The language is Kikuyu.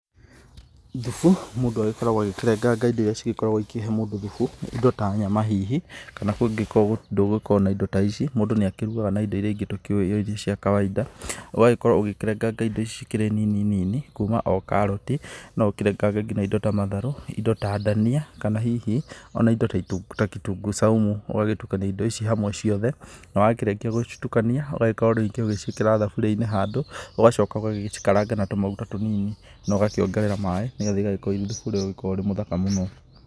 Thubu mũndũ agĩkoragwo agĩkĩrenganga indo iria cigĩkoragwo ikĩhe mũndũ thubu indo ta nyama hihi, kana kũngĩgĩkorwo ndũgũkorwo na indo ta ici mũndũ nĩ akĩrugaga na indo iria ingĩ tũkĩũĩ o iria cia kawainda. Ũgakorwo ũgĩkĩrenganga indo ici cikĩrĩ nini nini kuma o karoti, no ũkĩrengange ngina indo ta matharũ indo ta ndania kana hihi ona indo ta kitunguu saumu. Ũgagĩtukania indo ici hamwe ciothe na wakĩrĩkia gũcitukania ũgagĩkorwo rĩngĩ ũgĩciĩkĩra thaburia-inĩ handũ ũgagĩcoka ũgagĩcikaranga na tũmaguta tũnini, na ũgakĩongerera maaĩ nĩ getha igagĩkorwo irĩthubu ũria ũragĩkorwo wĩ mũthaka mũno.